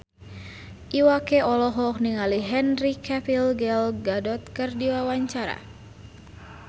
Iwa K olohok ningali Henry Cavill Gal Gadot keur diwawancara